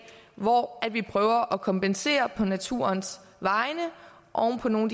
hvor vi prøver at kompensere på naturens vegne oven på nogle